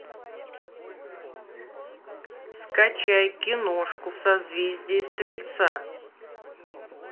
скачай киношку в созвездии стрельца